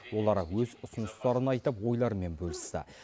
олар өз ұсыныстарын айтып ойларымен бөлісті